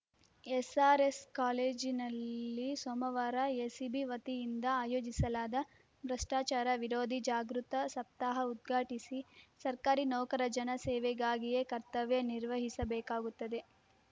SRS ಕಾಲೇಜನಲ್ಲಿ ಸೋಮವಾರ ACB ವತಿಯಿಂದ ಆಯೋಜಿಸಲಾದ ಭ್ರಷ್ಟಾಚಾರ ವಿರೋಧಿ ಜಾಗೃತ ಸಪ್ತಾಹ ಉದ್ಘಾಟಿಸಿ ಸರ್ಕಾರಿ ನೌಕರ ಜನ ಸೇವೆಗಾಗಿಯೇ ಕರ್ತವ್ಯ ನಿರ್ವಹಿಸಬೇಕಾಗುತ್ತದೆ